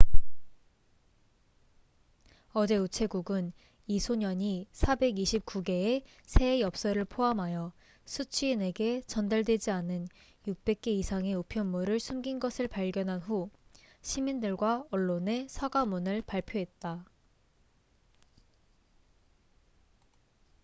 어제 우체국은 이 소년이 429개의 새해 엽서를 포함하여 수취인에게 전달되지 않은 600개 이상의 우편물을 숨긴 것을 발견한 후 시민들과 언론에 사과문을 발표했다